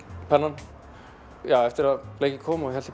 pennann eftir að blekið kom hélt